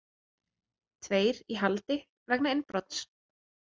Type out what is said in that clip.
Tveir í haldi vegna innbrots